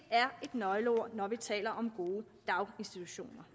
er et nøgleord når vi taler om gode daginstitutioner